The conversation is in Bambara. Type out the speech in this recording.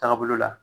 Taabolo la